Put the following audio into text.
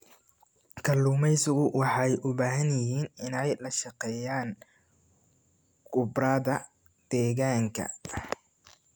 Kalluumaysigu waxay u baahan yihiin inay la shaqeeyaan khubarada deegaanka.